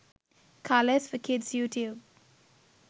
colours for kids you tube